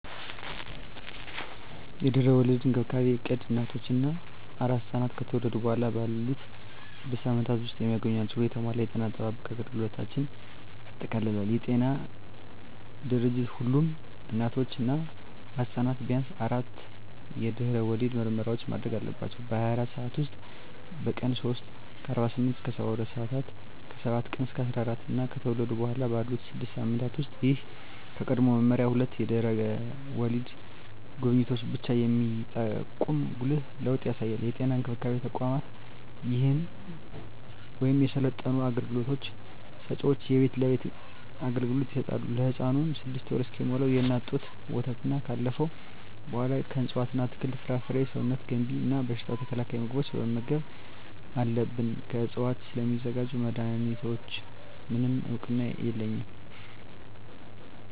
የድህረ ወሊድ እንክብካቤ እቅድ እናቶች እና አራስ ሕፃናት ከተወለዱ በኋላ ባሉት ስድስት ሳምንታት ውስጥ የሚያገኟቸውን የተሟላ የጤና አጠባበቅ አገልግሎቶችን ያጠቃልላል። የዓለም ጤና ድርጅት ሁሉም እናቶች እና አራስ ሕፃናት ቢያንስ አራት የድህረ ወሊድ ምርመራዎችን ማድረግ አለባቸው - በ24 ሰዓት ውስጥ፣ በቀን 3 (48-72 ሰአታት)፣ ከ7-14 ቀናት እና ከተወለዱ በኋላ ባሉት 6 ሳምንታት ውስጥ። ይህ ከቀድሞው መመሪያ ሁለት የድህረ ወሊድ ጉብኝቶችን ብቻ የሚጠቁም ጉልህ ለውጥ ያሳያል። የጤና እንክብካቤ ተቋማት ወይም የሰለጠኑ አገልግሎት ሰጭዎች የቤት ለቤት አገልግሎት ይሰጣሉ። ለህፃኑም 6ወር እስኪሞላው የእናት ጡት ወተትና ካለፈው በኃላ ከእፅዋት አትክልት፣ ፍራፍሬ ሰውነት ገንቢ እና በሽታ ተከላካይ ምግቦችን መመገብ አለብን። ከዕፅዋት ስለሚዘጋጁ መድኃኒቶች፣ ምንም እውቅና የለኝም።